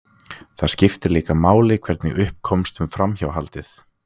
Það skiptir líka máli hvernig upp komst um framhjáhaldið.